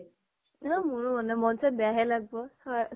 আ মোৰো মন নাই । মন চন বেয়া হে লাগব হ